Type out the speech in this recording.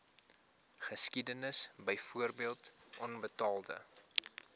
geskiedenis byvoorbeeld onbetaalde